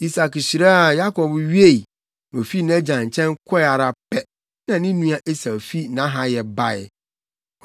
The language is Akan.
Isak hyiraa Yakob wiei, na ofii nʼagya nkyɛn kɔe ara pɛ, na ne nua Esau fi nʼahayɛ bae.